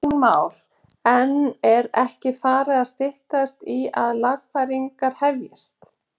Kristján Már: En er ekki farið að styttast í að lagfæringar hefjist?